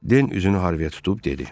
Den üzünü Harviyə tutub dedi: